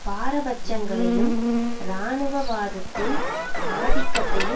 பாரபட்சங்களையும் இராணுவவாதத்தின் ஆதிக்கத்தையும்